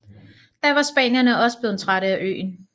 Da var spanierne også blevet trætte af øen